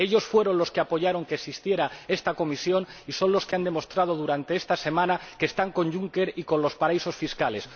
Ellos fueron los que apoyaron que existiera esta Comisión y son los que han demostrado durante esta semana que están con Juncker y con los paraísos fiscales.